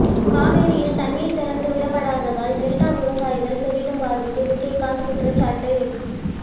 காவிரியில் தண்ணீர் திறந்து விடப்படாததால் டெல்டா விவசாயிகள் பெரிதும் பாதிப்பு விஜயகாந்த் குற்றச்சாட்டு